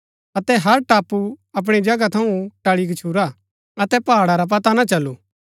अतै हर टापू अपणी जगह थऊँ टळी गच्छुरा अतै पहाड़ा रा पता ना चलू